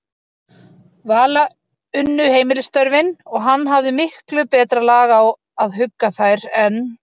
Vala unnu heimilisstörfin, og hann hafði miklu betra lag á að hugga þær en